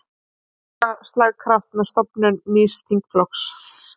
Auka slagkraft með stofnun nýs þingflokks